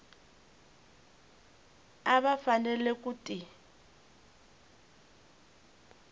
a va fanele ku ti